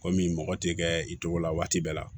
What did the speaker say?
Kɔmi mɔgɔ tɛ kɛ i cogo la waati bɛɛ la